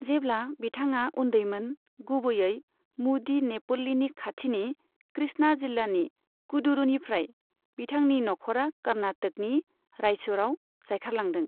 जेब्ला बिथाङा उन्दैमोन, गुबैयै मुदीनेपल्लीनि खाथिनि कृष्णा जिल्लानि कडुरुनिफ्राय बिथांनि नखरा कर्नाटकनि रायचूरआव जायखारलांदों।